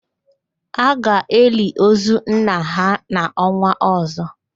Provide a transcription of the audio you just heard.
A ga-eli ozu nna ha n'ọnwa ọ̀zọ́.